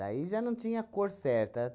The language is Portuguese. já não tinha cor certa.